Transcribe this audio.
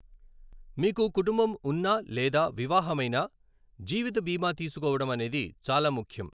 మీకు కుటుంబం ఉన్నా లేదా వివాహమైనా, జీవిత బీమా తీసుకోవడం అనేది చాలా ముఖ్యం.